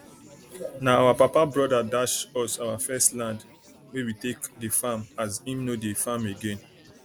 nah our papa broda dash us our first land wey we take dey farm as him nor dey farm again